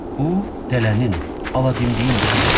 Bu dələnin, aladimdiyin işidir.